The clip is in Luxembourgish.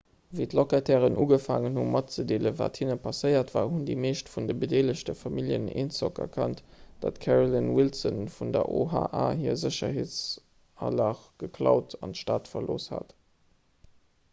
wéi d'locatairen ugefaangen hunn matzedeelen wat hinne passéiert war hunn déi meescht vun de bedeelegte familljen eenzock erkannt datt d'carolyn wilson vun der oha hir sécherheetsalage geklaut an d'stad verlooss hat